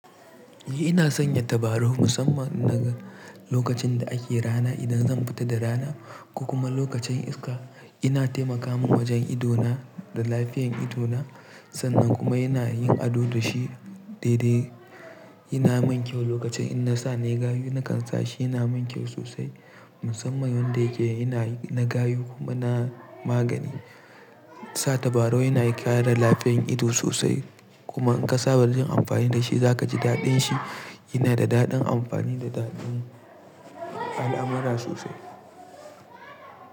Ni ina sanya tabarau musamman na lokacin da ake rana idan zan fita da rana ko kuma lokacin iska. Ina taimaka min wajen ido na da lafiyar ido na. Sannan kuma yana yin ado da shi daidai. Yana min kyau lokacin in na sa ne gayu na kan sa shi yana min kyau sosai musamman yanda yake yana na gayu kuma na magani. Sa tabarau yana kare lafiyar ido sosai kuma in ka saba da jin amfani da shi za ka ji daɗin shi. Yana da daɗin amfani da daɗin al'amara sosai.